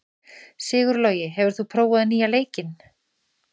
Sigurlogi, hefur þú prófað nýja leikinn?